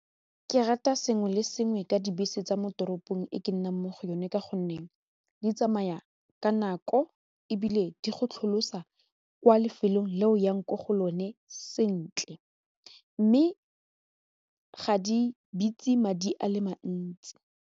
Ke rata sengwe le sengwe ka dibese tsa mo toropong e ke nnang mo go yone ka gonne di tsamaya ka nako ebile di go tlholasa kwa lefelong le o yang ko go lone sentle mme ga di bitse madi a le mantsi.